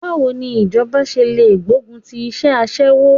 Báwo ni ìjọba ṣe lè gbógun ti iṣẹ́ aṣẹ́wó?